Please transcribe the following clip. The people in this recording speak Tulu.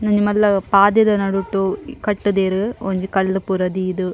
ಉಂದೊಂಜಿ ಮಲ್ಲ ಪಾತೆದ ನಡುಟ್ ಕಟ್ಟುದೆರ್ ಒಂಜಿ ಕಲ್ಲು ಪೂರ ದೀದ್.